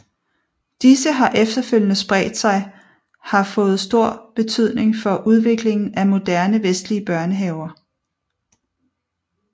Disse har efterfølgende spredt sig har fået stor betydning for udviklingen af moderne vestlige børnehaver